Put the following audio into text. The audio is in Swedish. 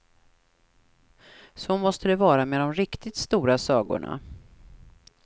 Så måste det vara med de riktigt stora sagorna.